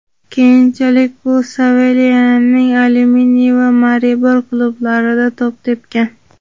Keyinchalik u Sloveniyaning "Alyuminiy" va "Maribor" klublarida to‘p tepgan.